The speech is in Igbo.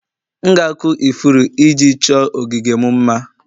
M ga-akụ ifuru iji chọọ ogige m mma